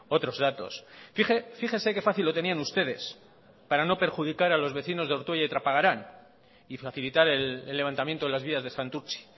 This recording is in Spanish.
otros datos fíjese que fácil lo tenían ustedes para no perjudicar a los vecinos de ortuella y trapagarán y facilitar el levantamiento de las vías de santurtzi